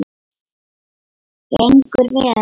Gengur vel?